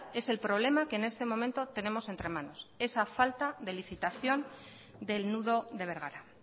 es el problema que en este momento tenemos entre manos esa falta de licitación del nudo de bergara